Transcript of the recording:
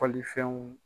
Kɔlilifɛnw